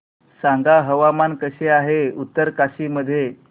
सांगा हवामान कसे आहे उत्तरकाशी मध्ये